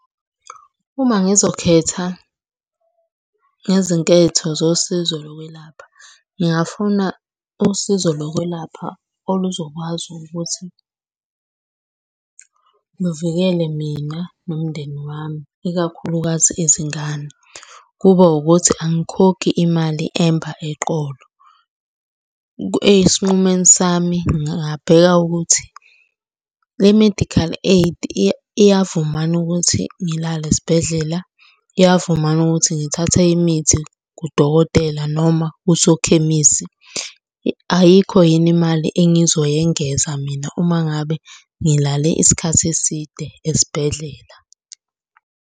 Uma ngizokhetha ngezinketho zosizo lokwelapha, ngingafuna usizo lokwelapha oluzokwazi ukuthi luvikele mina nomndeni wami ikakhulukazi izingane. Kube ukuthi angikhokhi imali emba eqolo. Esinqumeni sami ngingabheka ukuthi, le medical aid iyavuma yini ukuthi ngilale esibhedlela. Iyavuma yini ukuthi ngithathe imithi kudokotela noma usokhemisi. Ayikho yini imali engizoyengeza mina uma ngabe ngilale isikhathi eside esibhedlela.